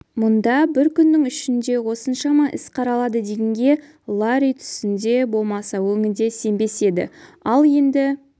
мұнда бір күннің ішінде осыншама іс қаралады дегенге ларри түсінде болмаса өңінде сенбес еді ал енді